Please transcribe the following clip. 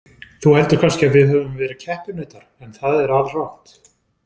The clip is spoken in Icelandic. Þú heldur kannski að við höfum verið keppinautar en það er alrangt.